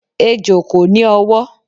Ejò kò ní ọwọ́.